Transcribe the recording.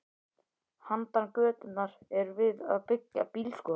Handan götunnar er verið að byggja bílskúra.